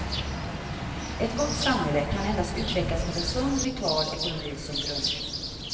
Ett gott samhälle kan endast utvecklas med en sund, vital ekonomi som grund.